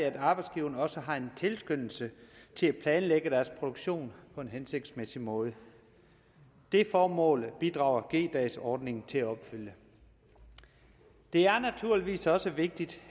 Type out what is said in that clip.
at arbejdsgiveren også har en tilskyndelse til at planlægge produktionen på en hensigtsmæssig måde det formål bidrager g dagsordningen til at opfylde det er naturligvis også vigtigt